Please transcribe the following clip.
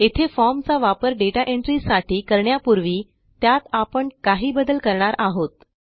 येथे फॉर्म चा वापर दाता एंट्री साठी करण्यापूर्वी त्यात आपण काही बदल करणार आहोत